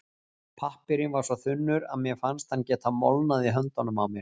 Pappírinn var svo þunnur að mér fannst hann geta molnað í höndunum á mér.